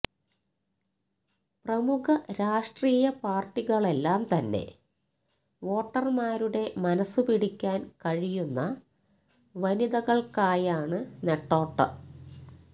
പ്രമുഖ രാഷ്ട്രീയപാർട്ടികളെല്ലാം തന്നെ വോട്ടർമാരുടെ മനസ് പിടിക്കാൻ കഴിയുന്ന വനിതകൾക്കായാണ് നെട്ടോട്ട